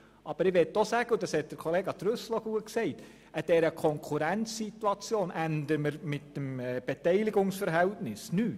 Aber ich möchte auch sagen – Grossrat Trüssel hat das treffend ausgedrückt –, dass wir an der Konkurrenzsituation mit der Beteiligung nichts ändern.